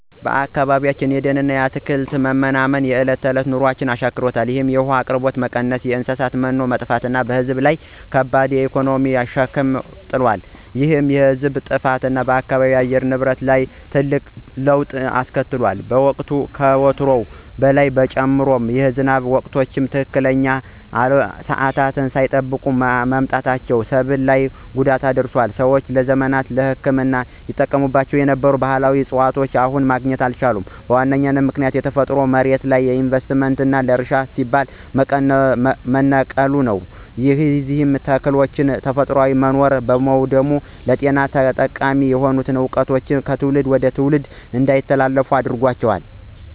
በአካባቢያችን የደንና አትክልት መመናመን የዕለት ተዕለት ኑሯችንን አሻክሮታል። የውሃ አቅርቦት በመቀነሱና የእንስሳት መኖ በመጥፋቱ በሕዝብ ላይ ከባድ የኢኮኖሚ ሸክም ጥሏል። ይህ የዕፅዋት መጥፋት በአካባቢው የአየር ንብረት ላይ ትልቅ መለዋወጥ አስከትሏል። ሙቀቱ ከወትሮው በላይ ጨምሯል፤ የዝናብ ወቅቶችም ትክክለኛ ሰዓታቸውን ሳይጠብቁ መምጣታቸው ሰብል ላይ ጉዳት አድርሷል። ሰዎች ለዘመናት ለሕክምና ይጠቀሙባቸው የነበሩ ባሕላዊ ዕፅዋትን አሁን ማግኘት አልቻሉም። ዋነኛው ምክንያት የተፈጥሮ መሬት ለኢንቨስትመንትና ለእርሻ ሲባል መነቀሉ ነው። የእነዚህ ተክሎች ተፈጥሯዊ መኖሪያ በመውደሙም ለጤና ጠቃሚ የሆኑ ዕውቀቶች ከትውልድ ወደ ትውልድ እንዳይተላለፉ አደጋ ደቅኗል።